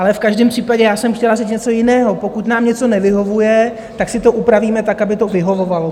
Ale v každém případě já jsem chtěla říct něco jiného: pokud nám něco nevyhovuje, tak si to upravíme tak, aby to vyhovovalo.